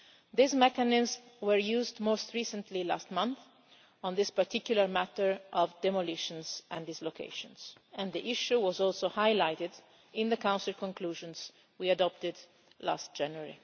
These mechanisms were used most recently last month on this particular matter of demolitions and dislocations and the issue was also highlighted in the Council conclusions we adopted last January.